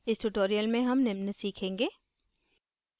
इस tutorial में हम निम्न सीखेंगे